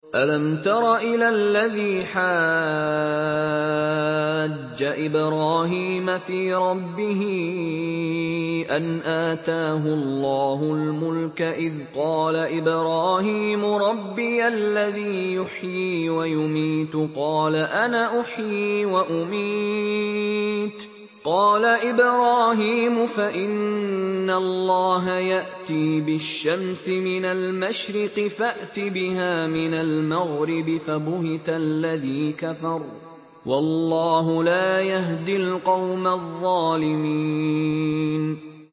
أَلَمْ تَرَ إِلَى الَّذِي حَاجَّ إِبْرَاهِيمَ فِي رَبِّهِ أَنْ آتَاهُ اللَّهُ الْمُلْكَ إِذْ قَالَ إِبْرَاهِيمُ رَبِّيَ الَّذِي يُحْيِي وَيُمِيتُ قَالَ أَنَا أُحْيِي وَأُمِيتُ ۖ قَالَ إِبْرَاهِيمُ فَإِنَّ اللَّهَ يَأْتِي بِالشَّمْسِ مِنَ الْمَشْرِقِ فَأْتِ بِهَا مِنَ الْمَغْرِبِ فَبُهِتَ الَّذِي كَفَرَ ۗ وَاللَّهُ لَا يَهْدِي الْقَوْمَ الظَّالِمِينَ